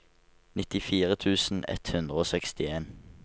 nittifire tusen ett hundre og sekstien